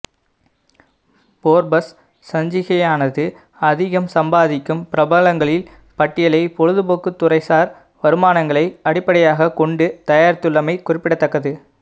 Forbes சஞ்சிகையானது அதிகம் சம்பாதிக்கும் பிரபலங்களில் பட்டியலை பொழுதுபோக்கு துறைசார் வருமானங்களை அடிப்படையாக் கொண்டு தயாரித்துள்ளமை குறிப்பிடத்தக்கது